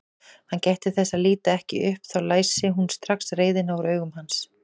Hann gætti þess að líta ekki upp, þá læsi hún strax reiðina úr augum hans.